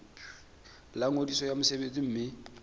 la ngodiso ya mosebetsi mme